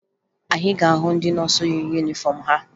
Anyị ga-ahụ ndị nọọsụ yi yunifọmụ ha